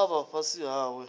vha fhasi hawe